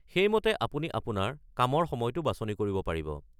সেইমতে আপুনি আপোনাৰ কামৰ সময়টো বাছনি কৰিব পাৰিব।